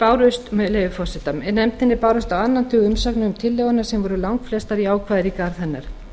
með leyfi forseta nefndinni bárust á annan tug umsagna um tillöguna sem voru langflestar jákvæðar í garð hennar